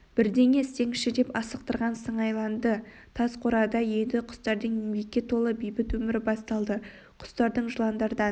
бірдеңе істеңізші деп асықтырған сыңайланды тас қорада енді құстардың еңбекке толы бейбіт өмірі басталды құстардың жыландардан